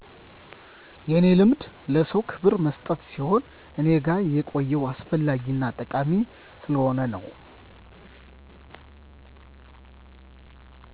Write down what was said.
የኔ ልማድ ለሰዉ ክብር መስጠት ሲሆን እኔ ጋ የቆየው አስፈላጊ እና ጠቃሚ ስለሆነ ነዉ